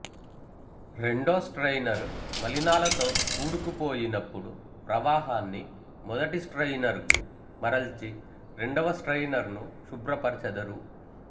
రెండో స్ట్రయినరు మలినాలతో పూడుకు పోయినపుడు ప్రవాహాన్ని మొదటి స్ట్రయినరుకు మరల్చి రెండవ స్ట్రయినరును శుభ్రపరచెదరు